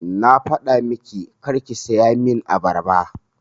Na faɗa miki karki saya min abarba!